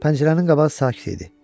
Pəncərənin qabağı sakit idi.